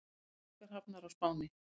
Kosningar hafnar á Spáni